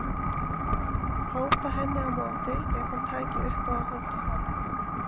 Hóta henni á móti ef hún tæki upp á að hóta honum.